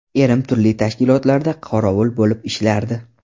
Erim turli tashkilotlarda qorovul bo‘lib ishlardi.